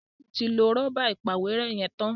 Taju tí lọ Rọ́bà ìpàwérẹ́ yén tán.